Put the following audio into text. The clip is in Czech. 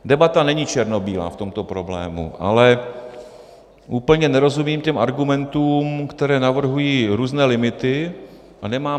Debata není černobílá v tomto problému, ale úplně nerozumím těm argumentům, které navrhují různé limity.